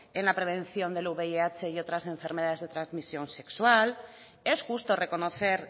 en la prevención del vih y otras enfermedades de transmisión sexual es justo reconocer